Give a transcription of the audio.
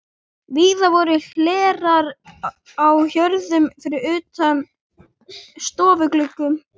Víða voru hlerar á hjörum utan yfir stofugluggum.